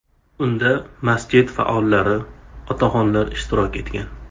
Unda masjid faollari, otaxonlar ishtirok etgan.